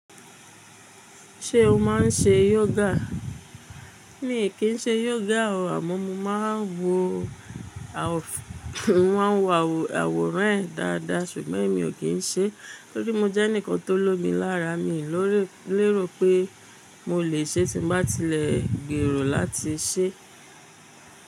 Ṣé o máà ń ṣe yoga? Mi ò kí ń ṣe yoga o, àmọ́ mo máa ń wo àwòrán rẹ̀ dáadáa ṣùgbọ́n mi ò kí ń ṣe. Nítorí mo jẹ́ ẹnìkan tó lomi lára mi lérò pé mo lè ṣe tí bá tilẹ̀ gbèrò láti ṣe.